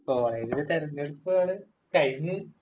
കോളേജില് തെരഞ്ഞെടുപ്പ് ആണ് കഴിഞ്ഞ്..